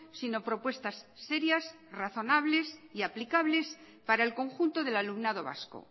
sino propuestas serias razonables y aplicables para el conjunto del alumnado vasco